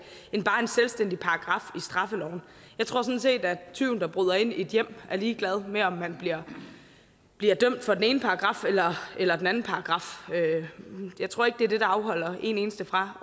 end bare en selvstændig paragraf i straffeloven jeg tror sådan set at tyven der bryder ind i et hjem er ligeglad med om man bliver bliver dømt efter den ene paragraf eller den anden paragraf jeg tror ikke det er det der afholder en eneste fra